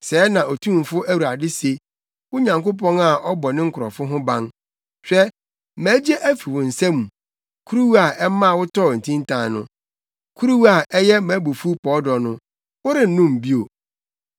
Sɛɛ na Otumfo Awurade se, wo Nyankopɔn a ɔbɔ ne nkurɔfo ho ban: Hwɛ, magye afi wo nsa mu, kuruwa a ɛma wotɔɔ ntintan no, kuruwa a ɛyɛ mʼabufuw pɔɔdɔ no, worennom bio.